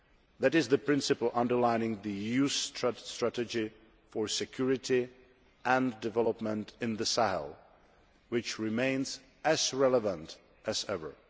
That is the principle underlying the EU's Strategy for Security and Development in the Sahel, which remains as relevant as ever.